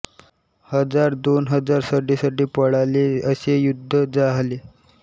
हजारदोन हजार सडे सडे पळाले असे युद्ध जाहले